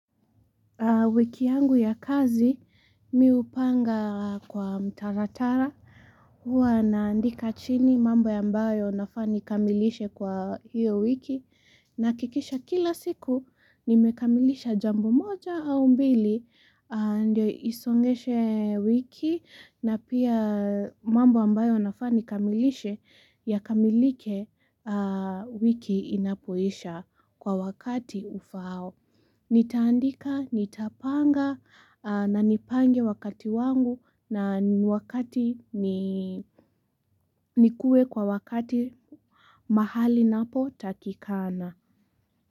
Wiki yangu ya kazi, mii hupanga kwa mtaratara, huwa naandika chini mambo ambayo nafaa nikamilishe kwa hiyo wiki, nahakisha kila siku, nimekamilisha jambo moja au mbili, aa ndio isongeshe wiki, na pia mambo ambayo nafaa nikamilishe yakamilike wiki inapoisha kwa wakati ufao. Nitandika, nitapanga na nipange wakati wangu na wakati nikuwe kwa wakati mahali napo takikana.